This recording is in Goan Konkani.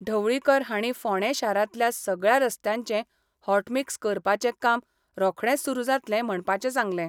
ढवळीकार हांणी फोंडे शारातल्या सगळया रस्त्यांचे हॉटमिक्स करपाचे काम रोखडेच सुरू जातले म्हणपाचे सांगले.